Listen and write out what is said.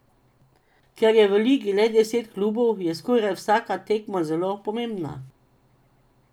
Ker je v ligi le deset klubov, je skoraj vsaka tekma zelo pomembna.